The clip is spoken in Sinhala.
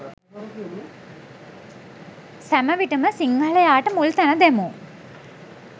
සැම විටම සිංහලයාට මුල් තැන දෙමු.